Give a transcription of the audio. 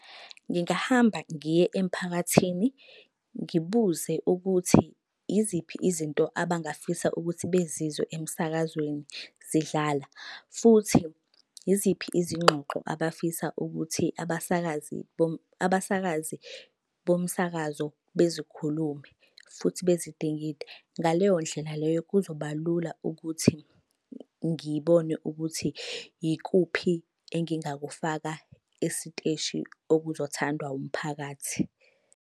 Ngingahamba ngiye emphakathini ngibuze ukuthi yiziphi izinto abangafisa ukuthi bezizwe emsakazweni zidlala. Futhi yiziphi izingxoxo abafisa ukuthi abasakazi abasakazi bomsakazo bezikhulume futhi bezidingide. Ngaleyo ndlela leyo kuzoba lula ukuthi ngibone ukuthi yikuphi engingakufaka esiteshi okuzothandwa umphakathi.